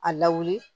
A lawuli